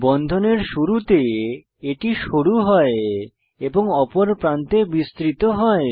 বন্ধনের শুরুতে এটি সরু হয় এবং অপর প্রান্তে বিস্তৃত হয়